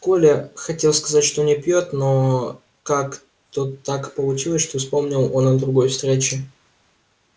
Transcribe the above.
коля хотел сказать что не пьёт но как то так получилось что вспомнил он о другой встрече